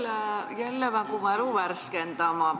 Ma pean jälle mälu värskendama.